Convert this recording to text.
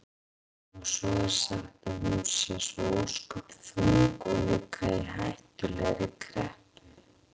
Og svo er sagt að hún sé svo ósköp þung og líka í hættulegri kreppu.